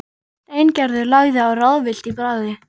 Steingerður lagði á, ráðvillt í bragði.